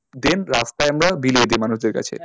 Then রাস্তায় আমরা বিলিয়ে দিই মানুষদের কাছে